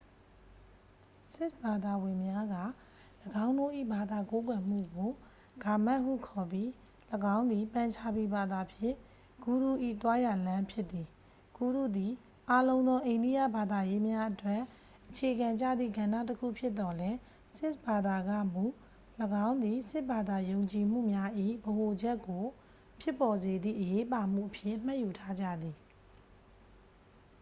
"ဆစ်ခ်ဘာသာဝင်များက ၎င်းတို့၏ ဘာသာကိုးကွယ်မှုကို ဂါမက်တ် ဟု ခေါ်ပြီး ၎င်းသည် ပန်ချာပီဘာသာဖြင့် "ဂုရု၏ သွားရာလမ်း" ဖြစ်သည်။ ဂုရုသည် အားလုံးသော အိန္ဒယဘာသာရေးများအတွက် အခြေခံကျသည့် ကဏ္ဍတစ်ခုဖြစ်သော်လည်း ဆစ်ခ်ဘာသာကမူ ၎င်းသည် ဆစ်ခ်ဘာသာ ယုံကြည်မှုများ၏ ဗဟိုချက်ကို ဖြစ်ပေါ်စေသည့် အရေးပါမှုအဖြစ် မှတ်ယူထားကြသည်။